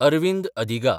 Arvind Adiga